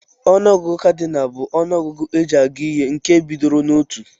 Onụ ọgụgụ Kadinal bu ọnụ ọgụgụ eji agụ ihe nke bidoro na otụ.